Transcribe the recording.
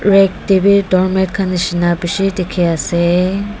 red te bi doormat khan nishi na bishi dikhi ase.